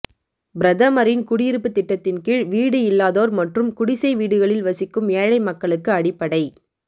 பிரதமரின் குடியிருப்பு திட்டத்தின் கீழ் வீடு இல்லாதோர் மற்றும் குடிசை வீடுகளில் வசிக்கும் ஏழை மக்களுக்கு அடிப்படை